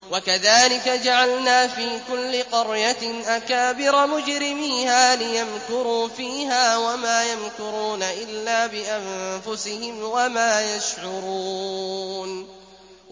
وَكَذَٰلِكَ جَعَلْنَا فِي كُلِّ قَرْيَةٍ أَكَابِرَ مُجْرِمِيهَا لِيَمْكُرُوا فِيهَا ۖ وَمَا يَمْكُرُونَ إِلَّا بِأَنفُسِهِمْ وَمَا يَشْعُرُونَ